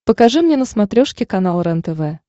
покажи мне на смотрешке канал рентв